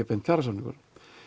beint kjarasamningur